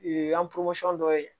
dɔ ye